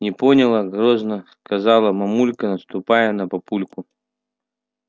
не поняла грозно сказала мамулька наступая на папульку